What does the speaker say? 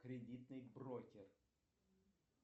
кредитный брокер